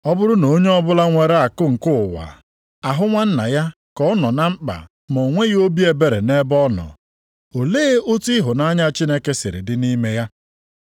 Ọ bụrụ na onye ọbụla nwere akụ nke ụwa, ahụ nwanna ya ka ọ nọ na mkpa ma o nweghị obi ebere nʼebe ọ nọ, olee otu ịhụnanya Chineke si dịrị nʼime ya?